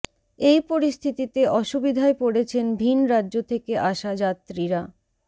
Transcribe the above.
এই পরিস্থিতিতে অসুবিধায় পড়েছেন ভিন রাজ্য থেকে আসা যাত্রীরা